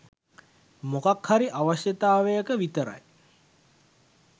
මොකක් හරි අවශ්‍යයතාවයක විතරයි